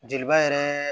Joliba yɛrɛ